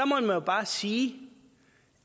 må jo bare sige